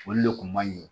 Olu le kun man ɲi